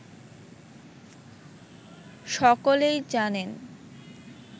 সকলেই জানেন